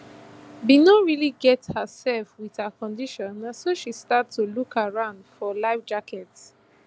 bin no really get herself wit her condition na so she start to look around for life jackets